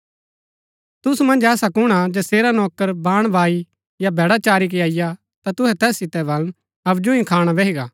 तुसु मन्ज ऐसा कुण हा जैसेरा नौकर बाण बाई या भैड़ा चारी के अईआ ता तुहै तैस सितै बलन हबजु ही खाणा बैही गा